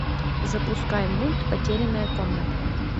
запускай мульт потерянная комната